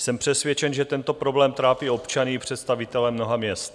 Jsem přesvědčen, že tento problém trápí občany i představitele mnoha měst.